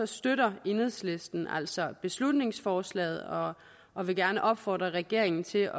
støtter enhedslisten altså beslutningsforslaget og og vil gerne opfordre regeringen til